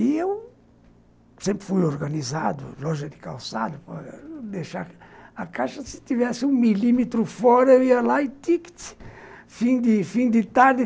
E eu sempre fui organizado, loja de calçado, para deixar a caixa, se tivesse um milímetro fora, ia lá e tic, tic, fim de tarde.